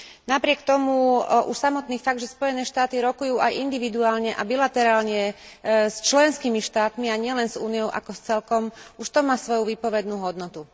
Napriek tomu už samotný fakt, že Spojené štáty rokujú aj individuálne a bilaterálne s členskými štátmi, a nielen s Úniou ako s celkom, už to má svoju výpovednú hodnotu.